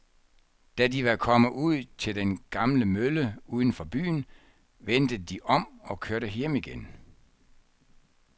Da de var kommet ud til den gamle mølle uden for byen, vendte de om og kørte hjem igen.